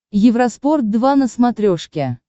евроспорт два на смотрешке